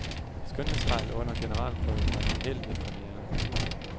Skønhedsfejl under generalprøven bringer held ved premieren.